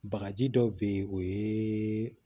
Bagaji dɔw be yen o ye